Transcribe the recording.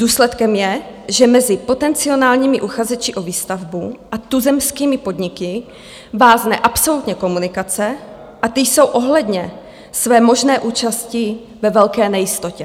Důsledkem je, že mezi potenciálními uchazeči o výstavbu a tuzemskými podniky vázne absolutně komunikace a ty jsou ohledně své možné účasti ve velké nejistotě.